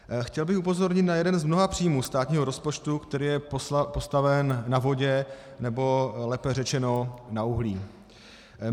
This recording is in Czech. Chtěl bych upozornit na jeden z mnoha příjmů státního rozpočtu, který je postaven na vodě, nebo lépe řečeno na uhlí.